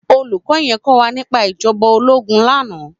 Ólúkò yèn kòwá nipá ijòbá ólógùn làná